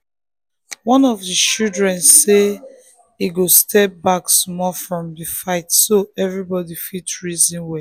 one of the children say e go step back small from di fight so everybody fit reason well.